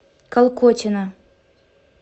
колкотина